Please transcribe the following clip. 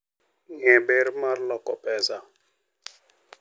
Ng'e ber mar loko pesa.